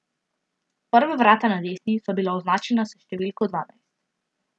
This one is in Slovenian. Prva vrata na desni so bila označena s številko dvanajst.